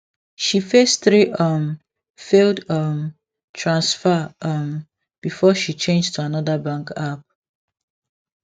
she face three um failed um transfer um before she change to another bank app